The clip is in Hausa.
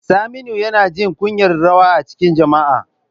Saminu yana jin kunyar rawa a cikin jama'a.